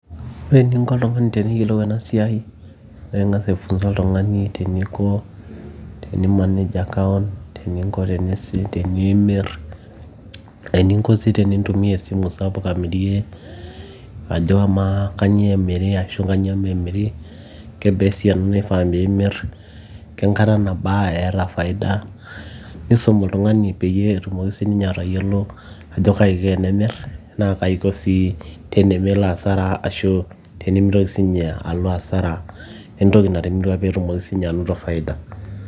ore eninko oltung'ani teniyiolou ena siai naa ing'as aifunza oltung'ani teniko teni manage account[ccs] teninko tenimirr eninko sii tenintumia esimu sapuk amirie ajo amaa kanyio emiri ashu kanyio memiri kebaa esiana naifaa piimirr kenkata nabaa eeta faida[ccs] nisum oltung'ani peyie etumoki sininye atayiolo ajo kaji iko tenemirr naa kaji iko sii tenemelo asara ashu tenimitoki sininye alo asara entoki natimirua peetumoki sininye anoto faida.